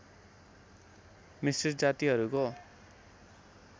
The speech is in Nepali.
मिश्रित जातिहरूको